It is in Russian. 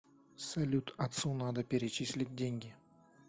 салют отцу надо перечислить деньги